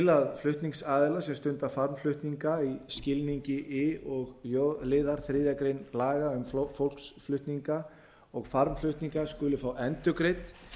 að flutningsaðilar sem stunda farmflutninga í skilningi i og j liðar þriðju grein laga um fólksflutninga og farmflutninga skuli fá endurgreidd